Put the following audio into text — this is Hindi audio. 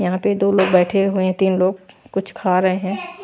यहां पे दो लोग बैठे हुए हैं तीन हैं लोग कुछ खा रहे हैं।